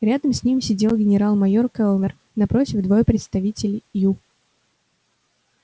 рядом с ним сидел генерал-майор кэллнер напротив двое представителей ю